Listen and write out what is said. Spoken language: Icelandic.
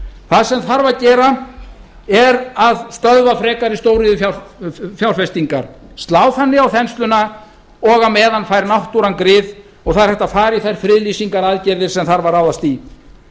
það sem þarf að gera er að stöðva frekari stóriðjufjárfestingar slá þannig á þensluna og á meðan fær náttúran grið og það er hægt að fara í þær friðlýsingaraðgerðir sem þarf að ráðast í